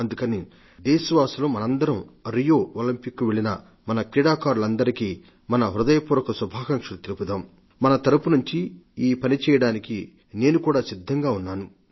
అందుకని దేశవాసులం మనందరం రియో ఒలంపిక్ క్రీడలకు వెళ్లిన మన క్రీడాకారులందరికీ మన హృదయపూర్వత శుభాకాంక్షలు తెలుపుదాం మీ తరపు నుండి ఈ పని చేయడానికి నేను కూడా సిద్ధంగా ఉన్నాను